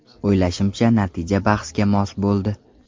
O‘ylashimcha, natija bahsga mos bo‘ldi.